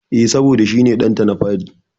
E, saboda shi ne ɗanta na fari.